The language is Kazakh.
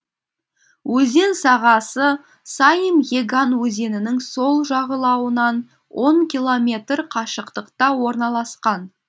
өзен сағасы саим еган өзенінің сол жағалауынан он километр қашықтықта орналасқан